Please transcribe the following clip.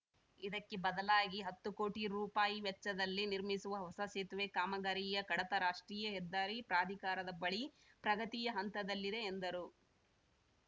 ಇದಕ್ಕೆ ಬದಲಾಗಿ ಹತ್ತು ಕೋಟಿ ರೂಪಾಯಿ ವೆಚ್ಚದಲ್ಲಿ ನಿರ್ಮಿಸುವ ಹೊಸ ಸೇತುವೆ ಕಾಮಗಾರಿಯ ಕಡತ ರಾಷ್ಟ್ರೀಯ ಹೆದ್ದಾರಿ ಪ್ರಾಧಿಕಾರದ ಬಳಿ ಪ್ರಗತಿಯ ಹಂತದಲ್ಲಿದೆ ಎಂದರು